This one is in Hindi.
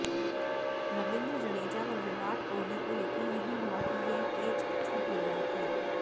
रवींद्र जडेजा व विराट कोहली को यकीन नहीं हुआ कि ये कैच छूट गया है